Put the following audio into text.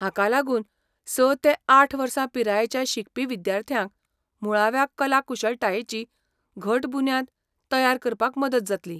हाका लागून स ते आठ वर्सां पिरायेच्या शिकपी विद्यार्थ्यांक मुळाव्या कला कुशळटायेची घट बुन्याद तयार करपाक मदत जातली.